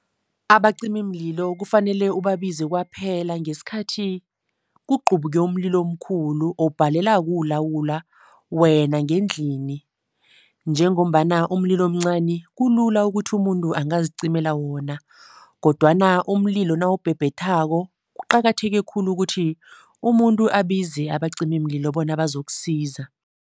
Abacimimlilo kufanele ubabize kwaphela ngesikhathi kuqubuke umlilo omkhulu obhalela kuwulawula wena ngendlini. Njengombana umlilo omncani kulula ukuthi umuntu angazicimela wona kodwana umlilo nawubhebhethako kuqakatheke khulu ukuthi umuntu abize abacimimlilo bona bazokusiza.